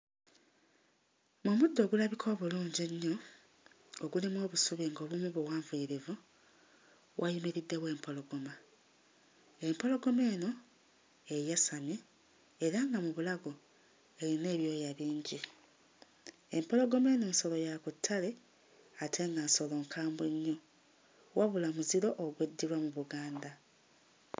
Mu muddo ogulabika obulungi ennyo ogulimu obusubi ng'obumu buwanvuyirivu wayimiriddewo empologoma, empologoma eno eyasamye era nga mu bulago eyina ebyoya bingi. Empologoma eno nsolo ya ku ttale ate nga nsolo nkwambwe nnyo wabula muziro ogweddirwa mu Buganda.